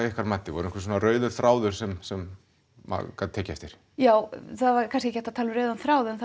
ykkar mati var einhver svona rauður þráður sem sem maður gat tekið eftir já það var kannski ekki hægt að tala um rauðan þráð en